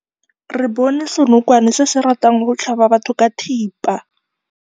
Re bone senokwane se se ratang go tlhaba batho ka thipa.